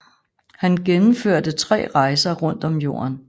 Han gennemførte tre rejser rundt om jorden